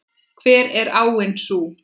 Hver er áin sú?